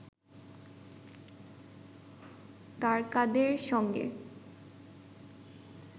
তারকাদের সঙ্গে